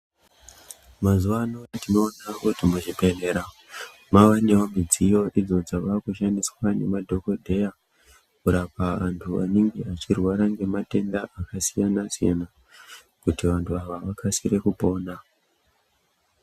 Mazuwano tinowona kuti muzvibhedhlera mava nezvidziyo idzo dzava kushandiswa nemadhokodheya, kurapa antu anenge vachirwarwa ngematenda akasiyana siyana, kuti vantu ava vakasire kupona.